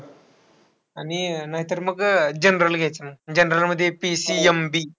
आणि नाहीतर मग अह general घ्यायचं. General मध्ये PCMB.